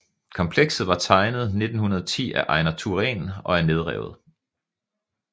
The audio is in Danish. Komplekset var tegnet 1910 af Ejnar Thuren og er nedrevet